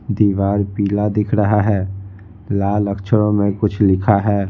दीवार पीला दिख रहा है लाल अक्षरों में कुछ लिखा है।